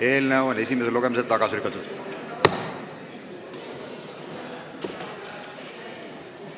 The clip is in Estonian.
Eelnõu on esimesel lugemisel tagasi lükatud.